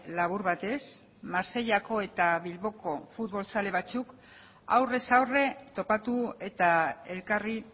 labur batez marseillako eta bilboko futbol zale batzuk aurrez aurre topatu eta elkarri